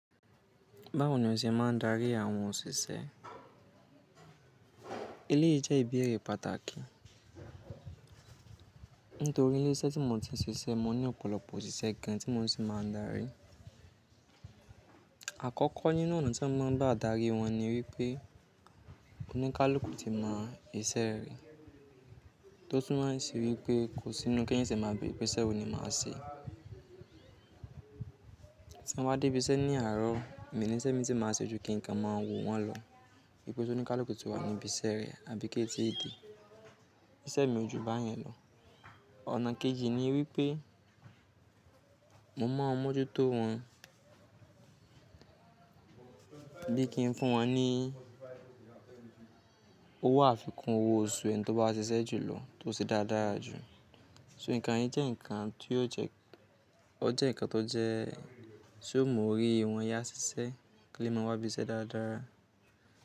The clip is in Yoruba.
Báwo ni o ṣe máa ń darí àwọn òṣìṣẹ́? Eléyìí jẹ́ ìbéèrè pàtàkì. Nítorí ilé iṣẹ́ tí mo ti ń ṣiṣẹ́, mo ní ọ̀pọ̀lọpọ̀ òṣìṣẹ́ gan tí mo si máa ń darí. Àkọ́kọ́ nínú ọ̀nà tí mo máa ń gbá darí wọn ni wípé oníkálùkù ti mọ iṣẹ́ rẹ̀, tó tún mo ń sì wi pé kò sí inú ki eeyan se máa beere wipe iṣẹ́ wo ni màá ṣe. Tí n bá dé ibi iṣẹ́ ní àárọ̀, èmi níṣẹ́ mi ti máa ṣe ojú kí ǹkan máa wò wọ́n lọ wípé tó ní kálukù tí wà ní ibi iṣẹ́ rẹ̀ àbí kí i di ìdí, iṣẹ́ mi ojú bá yẹn lọ. Ona keji ni wipe mo mọ̀ n m'ọjú tó wọn bí kí n fún wọn ní owó àfikún owó oṣù ẹni tó bá ṣiṣẹ́ jùlọ tó sì dara dára jù. So ǹkan yẹn jẹ́ ǹkan tí ó jẹ́, ó jẹ́ ǹkan tó jẹ́ tí ó mu ọ́rí wọn yá ṣiṣẹ́ kí wọ́n lè má wá ibi iṣẹ́ dáradára.